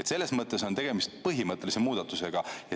Selles mõttes on tegemist põhimõttelise muudatusega.